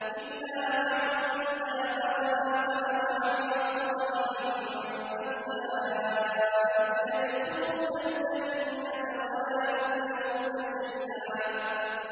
إِلَّا مَن تَابَ وَآمَنَ وَعَمِلَ صَالِحًا فَأُولَٰئِكَ يَدْخُلُونَ الْجَنَّةَ وَلَا يُظْلَمُونَ شَيْئًا